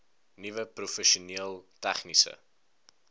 nuwe professioneel tegniese